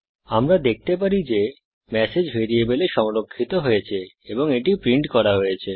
আমরা দেখতে পারি যে ম্যাসেজ ভ্যারিয়েবলে সংরক্ষিত হয়েছে এবং এটি প্রিন্ট করা হয়েছে